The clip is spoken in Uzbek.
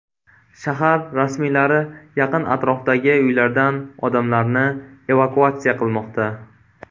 Shahar rasmiylari yaqin atrofdagi uylardan odamlarni evakuatsiya qilmoqda.